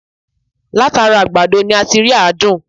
Láti ara àgbàdo ni a ti ń rí àádùn